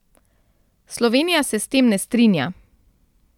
Slovenija se s tem ne strinja.